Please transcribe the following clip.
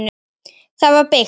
Það var byggt